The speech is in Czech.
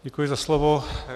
Děkuji za slovo.